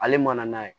Ale man n'a ye